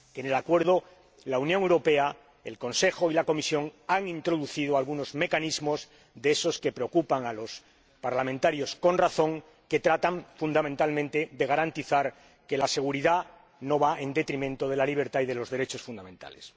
En el Acuerdo, la Unión Europea, el Consejo y la Comisión han introducido algunos mecanismos que preocupan a los diputados ─con razón─ que tratan fundamentalmente de garantizar que la seguridad no va en detrimento de la libertad y de los derechos fundamentales.